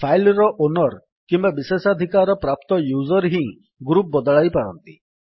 file ର owner କିମ୍ୱା ବିଶେଷାଧିକାର ପ୍ରାପ୍ତ ୟୁଜର୍ ହିଁ ଗ୍ରୁପ୍ ବଦଳାଇ ପାରନ୍ତି